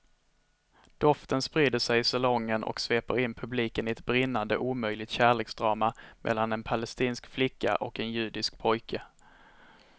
Doften sprider sig i salongen och sveper in publiken i ett brinnande omöjligt kärleksdrama mellan en palestinsk flicka och en judisk pojke.